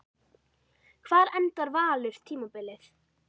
Hvar endar Valur tímabilið?